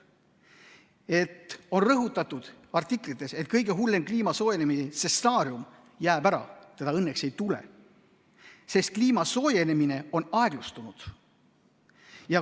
Artiklites on rõhutatud, et kõige hullem kliima soojenemise stsenaarium jääb ära, seda õnneks ei tule, sest kliima soojenemine on aeglustunud.